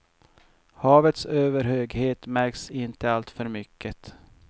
Havets överhöghet märks inte alltför mycket.